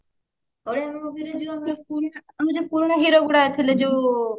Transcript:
Odia movie ରେ ଯୋଉ ପୁରୁଣା hero ଗୁଡାକ ଥିଲେ ଯୋଉ